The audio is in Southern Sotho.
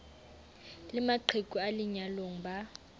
le maqheku a lenyalong ba